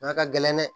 ka gɛlɛn dɛ